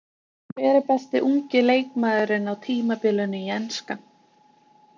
Hver er besti ungi leikmaðurinn á tímabilinu í enska?